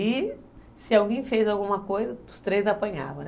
E se alguém fez alguma coisa, os três apanhavam.